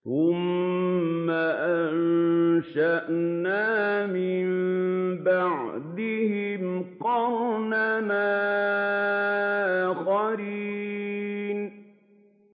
ثُمَّ أَنشَأْنَا مِن بَعْدِهِمْ قَرْنًا آخَرِينَ